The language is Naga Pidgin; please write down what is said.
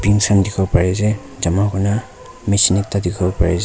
khan dikhiwo pariase jama kurna machine ekta we dikhiwo pariase.